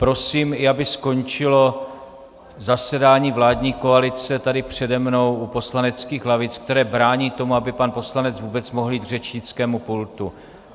Prosím také, aby skončilo zasedání vládní koalice tady přede mnou u poslaneckých lavic, které brání tomu, aby pan poslanec vůbec mohl jít k řečnickému pultu.